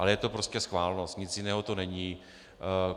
Ale je to prostě schválnost, nic jiného to není.